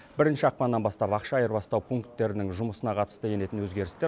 бірінші ақпаннан бастап ақша айырбастау пунктерінің жұмысына қатысты енетін өзгерістер